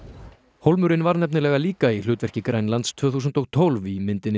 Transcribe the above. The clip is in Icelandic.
hólmurinn var nefnilega líka í hlutverki Grænlands tvö þúsund og tólf í myndinni